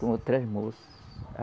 Com outras moças.